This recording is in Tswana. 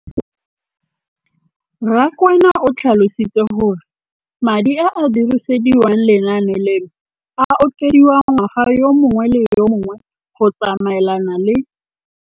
Rakwena o tlhalositse gore madi a a dirisediwang lenaane leno a okediwa ngwaga yo mongwe le yo mongwe go tsamaelana le.